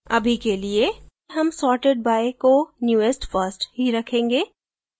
अभी के लिए हम sorted by को newest first ही रखेंगे